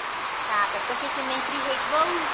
ତା ପରେ ତା ସେ ସିମେଇ ଖିରୀ ହେଇ ଜିବ ଆଉ